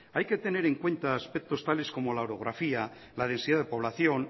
hay que tener en cuenta aspectos tales como la orografía la densidad de población